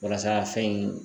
Walasa fɛn in